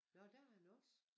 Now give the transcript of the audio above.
Nåh der har han også